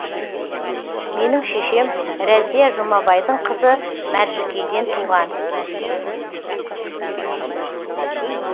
менің шешем рәзия жұмабайдың қызы мәржікейден туған